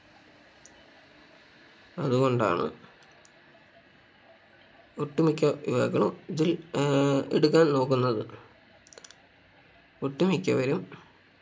അതുകൊണ്ടാണ് ഒട്ടുമിക്ക യുവാക്കളും ഇതിൽ ഏർ എടുക്കാൻ നോക്കുന്നത് ഒട്ടുമിക്കവരും